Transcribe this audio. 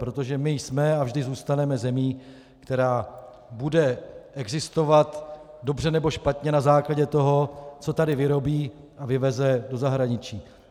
Protože my jsme a vždy zůstaneme zemí, která bude existovat dobře, nebo špatně na základě toho, co tady vyrobí a vyveze do zahraničí.